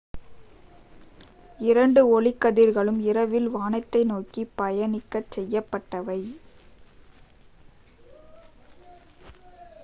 இரண்டு ஒளிக்கதிர்களும் இரவில் வானத்தை நோக்கி பயணிக்கச் செய்யப்பட்டவை